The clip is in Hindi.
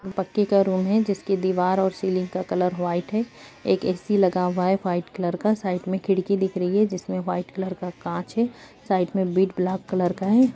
पक्की घरों में जिसकी दीवार और शिलिंग का कलर व्हाइट है एक ए.सी लगा हुआ हैं वाइट कलर का साइड में खिड़की दिख रही है जिसमें व्हाइट कलर का कांच है साइड में भी ब्लैक कलर का है।